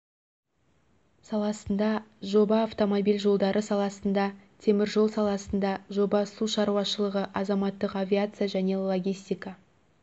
саласында жоба автомобиль жолдары саласында темір жол саласында жоба су шаруашылығы азаматтық авиация және логистика